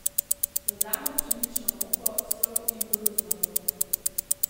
Dodamo pšenično moko, sol in koruzno moko.